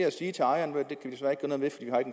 at sige til ejeren ved